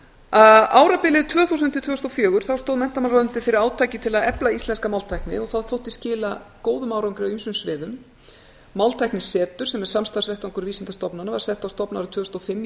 þinginu árabilið tvö þúsund til tvö þúsund og fjögur stóð menntamálaráðuneytið fyrir átaki til að efla íslenska máltækni og það þótti skila ágætum árangri á mörgum sviðum máltæknisetur sem er samstarfsvettvangur vísindastofnana var sett á stofn árið tvö þúsund og fimm í